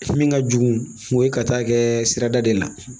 Min ka jugu o ye ka taa kɛ sirada de la